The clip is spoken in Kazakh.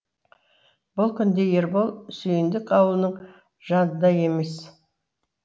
бұл күнде ербол сүйіндік аулының жанында емес